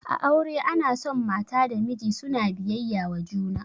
A aure ana son mata da miji suna biyayya wa juna